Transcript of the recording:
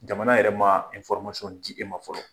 Jamana yɛrɛ ma di e ma fɔlɔ